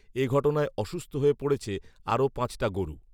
এ ঘটনায় অসুস্থ হয়ে পড়েছে আরও পাঁচটা গরু